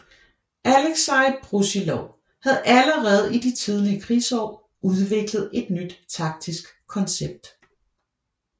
Aleksej Brusilov havde allerede i de tidlige krigsår udviklet et nyt taktisk koncept